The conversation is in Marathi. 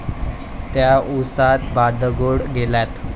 त्या उसात बांडगुळ गेल्यात